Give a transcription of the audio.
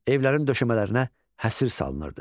Evlərin döşəmələrinə həsir salınırdı.